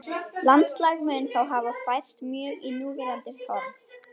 Landslag mun þá hafa færst mjög í núverandi horf.